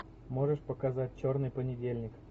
можешь показать черный понедельник